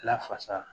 Lafasa